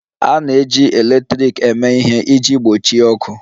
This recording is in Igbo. A na-eji igbe eletrik eme ihe iji gbochie ọkụ